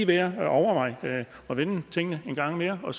værd at overveje at vende tingene en gang mere og